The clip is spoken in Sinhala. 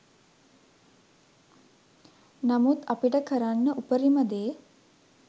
නමුත් අපිට කරන්න උපරිම දේ